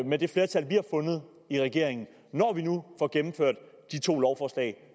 med det flertal vi har fundet i regeringen får gennemført de to lovforslag